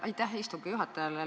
Aitäh istungi juhatajale!